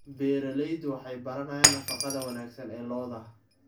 Beeraleydu waxay baranayaan nafaqada wanaagsan ee lo'da.